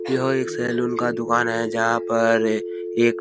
यह एक सैलून का दुकान है जहाँ पर एक --